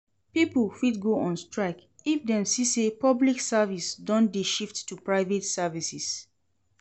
Pipo fit go on strike if dem see say public service don de shift to private services